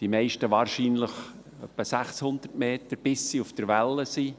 die meisten wahrscheinlich 600 Meter, bis sie auf der Welle sind.